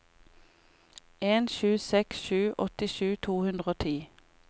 en sju seks sju åttisju to hundre og ti